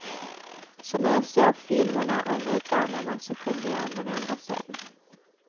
Så när jag såg filmerna om utvandrarna, så kunde jag varenda scen.